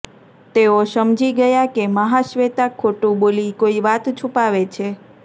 તેઓ સમજી ગયા કે મહાશ્વેતા ખોટું બોલી કોઈ વાત છુપાવે છે